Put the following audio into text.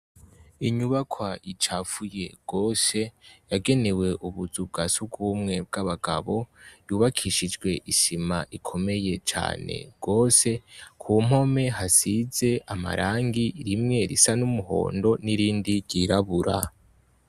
Inyubakwa icafuye gose yagenewe ubuzu bwa sugumwe bw' abagabo yubakishijwe isima ikomeye cane gose ku mpome hasize amarangi imwe isa n' umuhondo n’irindi ryirabura.